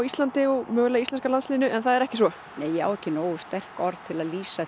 íslenska liðinu en það er ekki svo nei ég á ekki nógu sterk orð til að lýsa